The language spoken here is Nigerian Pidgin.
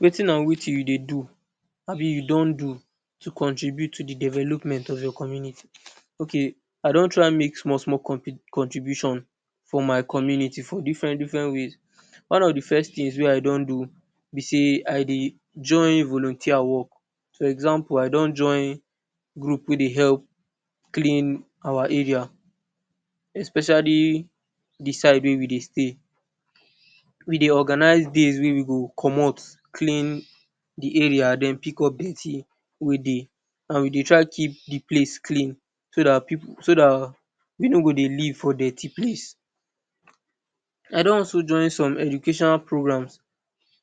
Wetin and wetin you dey do abi you don do to contribute to de development of your community? Okay I don try make small small contribution for my community for different different ways. One of de first things wey I don do be sey I dey join volunteer work, for example I don join group wey dey help clean our area especially de side wey we dey stay. We dey organize days wey we go commot clean de area den pick up dirty wey dey and we dey try keep de place clean so dat pipu so dat we nor go live for dirty place. I don also join some educational programs